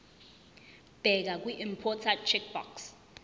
bheka kwiimporter checkbox